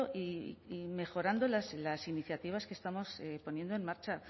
y mejorando las iniciativas que estamos poniendo en marcha